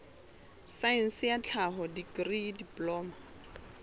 saense ya tlhaho dikri diploma